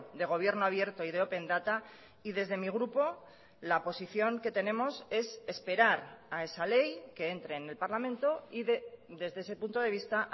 de gobierno abierto y de open data y desde mi grupo la posición que tenemos es esperar a esa ley que entre en el parlamento y desde ese punto de vista